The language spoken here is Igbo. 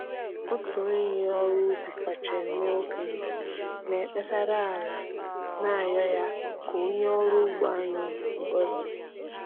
Otu onye ọrụ ubi kacha mee okenye na-ekpesara ala, na-arịọ ya ka o nye ọrụ ugbo anyị ngozị